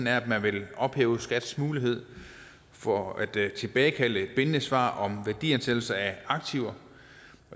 at man vil ophæve skats mulighed for at tilbagekalde bindende svar om værdiansættelse af aktiver